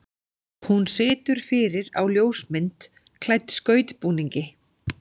Hún situr fyrir á ljósmynd klædd skautbúningi.